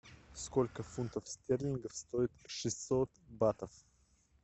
сколько фунтов стерлингов стоит шестьсот батов